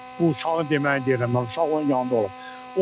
Bu uşağın deməliyirəm, uşaq onun yanında olub.